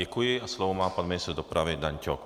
Děkuji a slovo má pan ministr dopravy Dan Ťok.